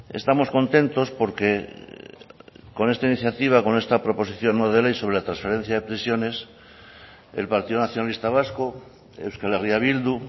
estamos contentos porque con esta iniciativa con esta proposición no de ley sobre la transferencia de prisiones el partido nacionalista vasco euskal herria bildu